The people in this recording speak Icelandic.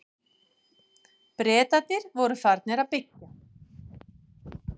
Bretarnir voru farnir að byggja.